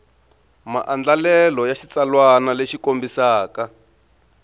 maandlalelo ya xitsalwana lexi kombisaka